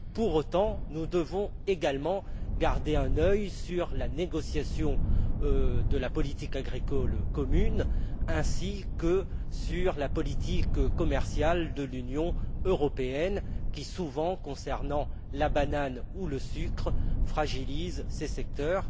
Pour autant, nous devons également garder un œil sur la négociation de la politique agricole commune ainsi que sur la politique commerciale de l'Union européenne qui, souvent, concernant la banane ou le sucre, fragilise ces secteurs.